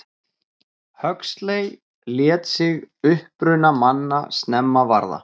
Huxley lét sig uppruna manna snemma varða.